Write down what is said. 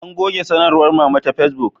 An goge sanarwar Mama ta Fesbuk